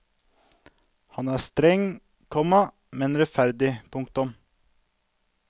Han er streng, komma men rettferdig. punktum